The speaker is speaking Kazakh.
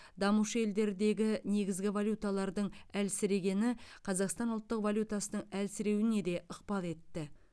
дамушы елдердегі негізгі валюталардың әлсірегені қазақстан ұлттық валютасының әлсіреуіне де ықпал етті